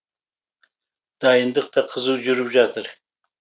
дайындық та қызу жүріп жатыр